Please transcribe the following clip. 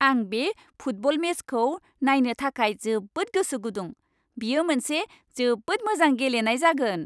आं बे फुटबल मेचखौ नायनो थाखाय जोबोद गोसो गुदुं! बेयो मोनसे जोबोद मोजां गेलेनाय जागोन।